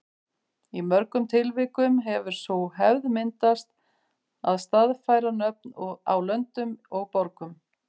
Í mörgum tilvikum hefur sú hefð myndast að staðfæra nöfn á löndum og borgum.